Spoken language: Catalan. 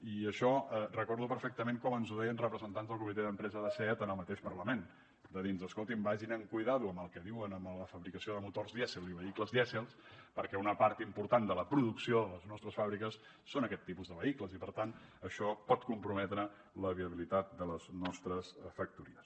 i això recordo perfectament com ens ho deien representants del comitè d’empresa de seat en el mateix parlament de dir nos escoltin vagin amb compte amb el que diuen de la fabricació de motors dièsel i vehicles dièsel perquè una part important de la producció de les nostres fàbriques són aquest tipus de vehicles i per tant això pot comprometre la viabilitat de les nostres factories